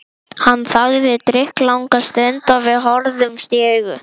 Ætlarðu að sólunda hæfileikum þínum fyrir japanskan auðhring?